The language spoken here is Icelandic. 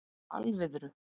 Alviðru